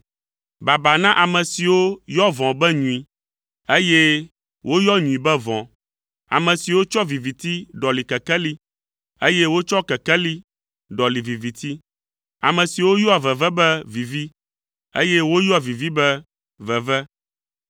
Baba na ame siwo yɔ vɔ̃ be nyui, eye woyɔ nyui be vɔ̃, ame siwo tsɔ viviti ɖɔli kekeli, eye wotsɔ kekeli ɖɔli viviti. Ame siwo yɔa veve be vivi, eye woyɔa vivi be veve.